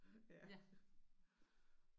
Ja